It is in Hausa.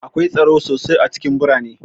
Akwai tsaro sosai a cikin birane